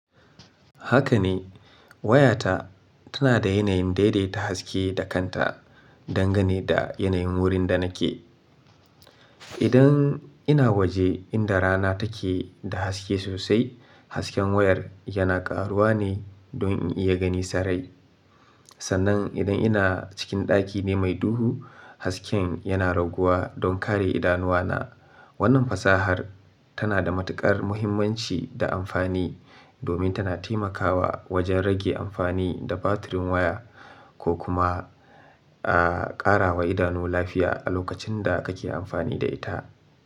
Haka ne, wayata tana da yanayin daidaita haske da kanta don gane da yanayin wurin da nake. Idan ina waje inda rana take da haske sosai, hasken wayar yana ƙaruwa ne don in iya gani sarai. Sannan idan ina cikin ɗaki ne mai duhu, hasken yana raguwa don kare idanuwana. Wannan fasahar tana da matuƙar muhimmanci da amfani domin tana taimakawa wajen rage amfani da batirin waya ko kuma, a ƙara wa idanu lafiya a lokacin da kake amfani da ita.